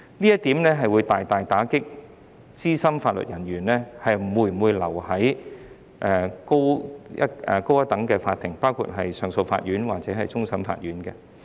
這點會大大打擊資深法律人員留在較高等的法庭，包括上訴法庭或終審法院的信心。